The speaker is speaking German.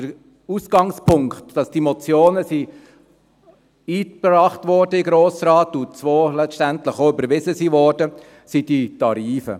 Der Ausgangspunkt, dass diese Motionen in den Grossen Rat eingebracht und zwei davon letztendlich auch überwiesen wurden, sind die Tarife.